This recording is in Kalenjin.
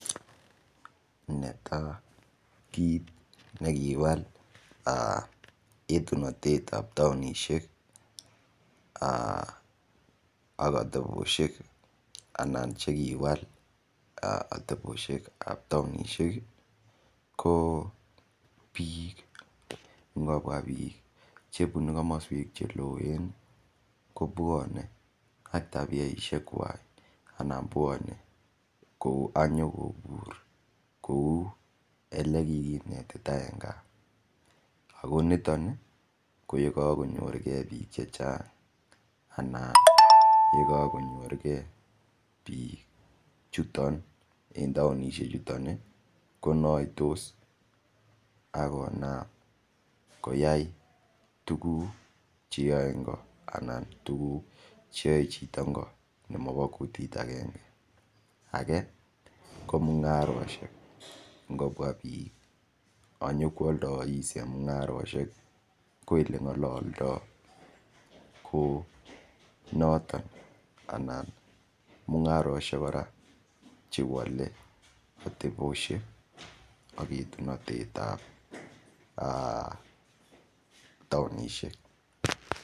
Netai kiit nekiwal etunotet ap taonishek ak ateposhek anan chekiwal ateposhek ap taonishek ko biik ngobua biik chebunu komoswek che loen kobuone ak tabieshek kwach ana bwone kouu anyokobur kou ele kikinetita eng gaa akoniton ko yekakonyorkei biik che chang anan yekakonyorgei biik chuton en taonishek chuton konoitos akonap koyai tukuk cheyoei ngo anan tukuk cheyoei chito ngo nemabo kutit akenge ake ko mung'aroshek ngobua biik anyokoaldois eng mung'aroshek ko ele ngololdoi ko noton ana mung'aroshek kora chewole ateposhek ak etunotet ap taonishek.